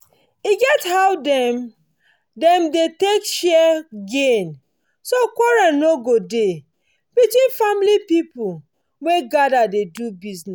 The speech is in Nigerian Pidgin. e get how wey dem wey dem dey use take share gain so quarrel no go dey between family people wey gather dey do bizness